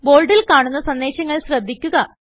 ബോൾഡിൽ കാണുന്ന സന്ദേശങ്ങൾ ശ്രദ്ധിക്കുക